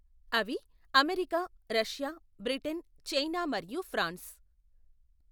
అవి America Russia Britain China మరియు France.